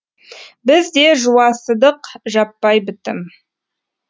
біз де жуасыдық жаппай бітім